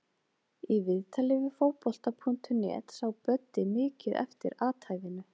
Í viðtali við Fótbolta.net sá Böddi mikið eftir athæfinu.